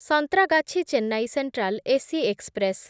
Santragachi Chennai Central AC express